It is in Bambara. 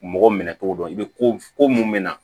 Mɔgɔ minɛ togo dɔn i bɛ ko mun me na